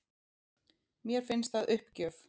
Mér finnst það uppgjöf